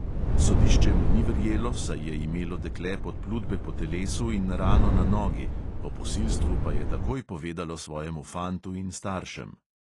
Sodišče mu ni verjelo, saj je imelo dekle podplutbe po telesu in rano na nogi, o posilstvu pa je takoj povedalo svojemu fantu in staršem.